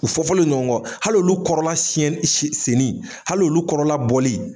U fɔ fɔlen don ɲɔgɔn kɔ ,hali olu kɔrɔla siɲɛni senni, hali olu kɔrɔla bɔli